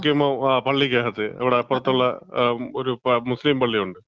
പോക്കീമാൻ പള്ളിക്കാത്ത്, അങ്ങ് അപ്പറത്തുള്ള ഒരു മുസ്ലീം പള്ളിയുണ്ട്.